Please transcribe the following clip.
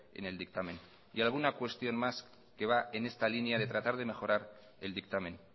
en el dictamen y alguna cuestión más que va en esta línea de tratar de mejorar el dictamen